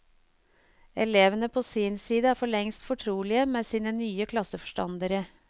Elevene på sin side er forlengst fortrolige med sine nye klasseforstandere.